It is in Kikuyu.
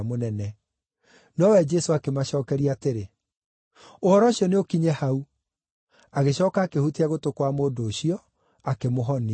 Nowe Jesũ akĩmacookeria atĩrĩ, “Ũhoro ũcio nĩũkinye hau!” Agĩcooka akĩhutia gũtũ kwa mũndũ ũcio, akĩmũhonia.